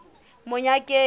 monyakeng